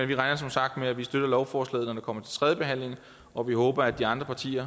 vi regner som sagt med at vi støtter lovforslaget når det kommer til tredje behandling og vi håber at de andre partier